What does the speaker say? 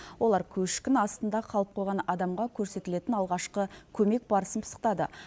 олар көшкін астында қалып қойған адамға көрсетілетін алғашқы көмек барысын пысықтады